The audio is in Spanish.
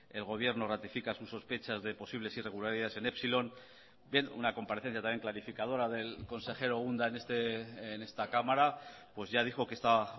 el gobierno ratifica sus sospechas de posibles irregularidades en epsilón bien una comparecencia también clarificadora del consejero unda en esta cámara pues ya dijo que esta